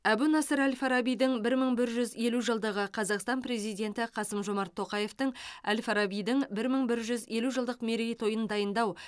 әбу насыр әл фарабидің бір мың бір жүз елу жылдығы қазақстан президенті қасым жомарт тоқаевтың әл фарабидің бір мың бір жүз елу жылдық мерейтойын дайындау